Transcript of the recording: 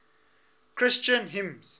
christian hymns